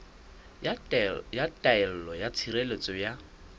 ya taelo ya tshireletso ya